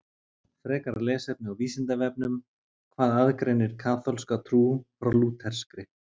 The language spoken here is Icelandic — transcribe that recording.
Frekara lesefni á Vísindavefnum Hvað aðgreinir kaþólska trú frá lúterskri?